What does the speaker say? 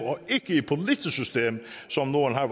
som nogle har